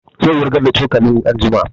Zai wurgar da cokalin anjima